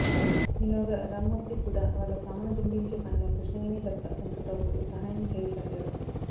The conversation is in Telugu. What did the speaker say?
ఈలోగా రామ్మూర్తి కూడా వాళ్ళ సామాను దింపించే పనిలో కృష్ణవేణి భర్త వెంకట్రావుకు సహాయం చెయ్యసాగాడు